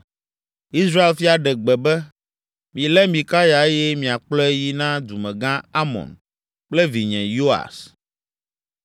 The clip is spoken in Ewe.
Israel fia ɖe gbe be, “Milé Mikaya eye miakplɔe yi na dumegã Amon kple vinye Yoas.